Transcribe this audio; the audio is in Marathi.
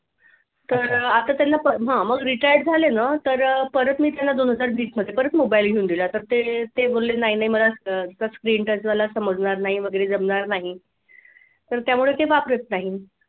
तर आता त्यांना हा मग retired झाले ना तर परत मी त्यांना दोन हजार वीस मध्ये परत मोबाईल घेऊन दिला तर ते ते बोलले नाही नाही मला touch screen touch वाला समजणार नाही जमणार नाही त्यामुळे ते वापरत नाही.